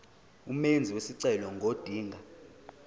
umenzi wesicelo ngodinga